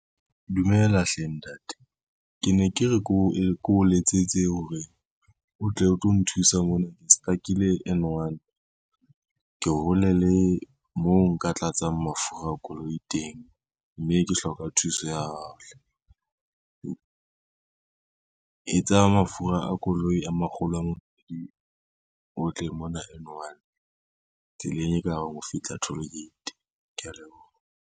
Dumela hle ntate, ke ne ke re ke o letsetse hore o tle o tlo nthusa mona ke stuck-ile N one, ke hole le moo nka tlatsang mafura a koloi teng, mme ke hloka thuso ya hao hle. E tsa mafura a koloi a makgolo a mabedi o tle mona N one tseleng e ka re ho fihla toll gate, kea leboha.